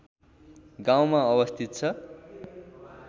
गाउँमा अवस्थित छ